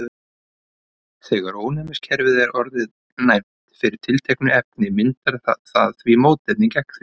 þegar ónæmiskerfið er orðið næmt fyrir tilteknu efni myndar það mótefni gegn því